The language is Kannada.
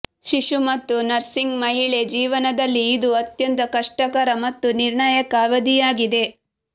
ಶಿಶು ಮತ್ತು ನರ್ಸಿಂಗ್ ಮಹಿಳೆ ಜೀವನದಲ್ಲಿ ಇದು ಅತ್ಯಂತ ಕಷ್ಟಕರ ಮತ್ತು ನಿರ್ಣಾಯಕ ಅವಧಿಯಾಗಿದೆ